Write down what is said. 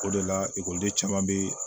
O de la ekɔliden caman bɛ